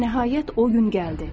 Və nəhayət o gün gəldi.